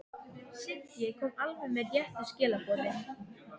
Siggi kom alveg með réttu skilaboðin.